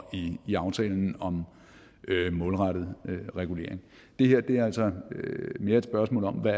i aftalen om målrettet regulering det her er altså mere et spørgsmål om hvad